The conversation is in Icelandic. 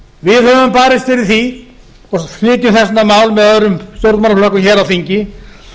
við höfum barist fyrir því og flytjum þess vegna mál með öðrum stjórnmálaflokkum hér á þingi